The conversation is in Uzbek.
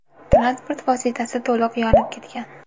Transport vositasi to‘liq yonib ketgan.